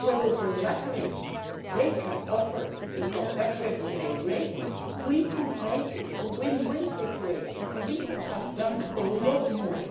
For with the leverage they can offer, because they have a AAA rating, we could make it a win win situation and we could have done much more.